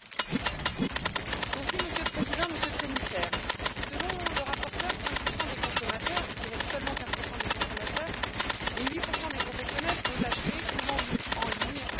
Monsieur le Président, Monsieur le Commissaire, selon le rapporteur, 15 des consommateurs, je dirais seulement 15 des consommateurs et 8 des professionnels ont acheté ou vendu en ligne dans un autre État membre.